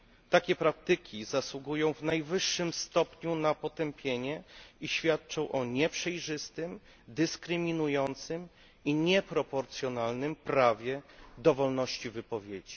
Takie praktyki zasługują w najwyższym stopniu na potępienie i świadczą o nieprzejrzystym, dyskryminującym i nieproporcjonalnym prawie wolności wypowiedzi.